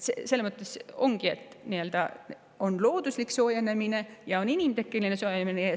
Ongi nii, et on looduslik soojenemine ja on inimtekkeline soojenemine.